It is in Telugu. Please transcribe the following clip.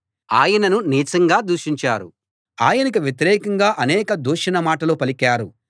ఆయనను నీచంగా దూషించారు ఆయనకు వ్యతిరేకంగా అనేక దూషణ మాటలు పలికారు